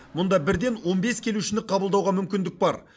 мұнда бірден он бес келушіні қабылдауға мүмкіндік бар